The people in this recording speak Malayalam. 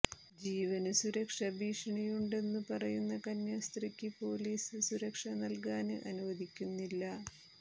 ജീവന് സുരക്ഷാ ഭീഷണിയുണ്ടെന്നു പറയുന്ന കന്യാസ്ത്രീക്ക് പോലീസ് സുരക്ഷ നല്കാന് അനുവദിക്കുന്നില്ല